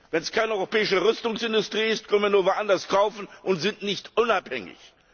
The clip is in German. Wenn es keine europäische Rüstungsindustrie gibt, können wir nur woanders kaufen und sind nicht unabhängig.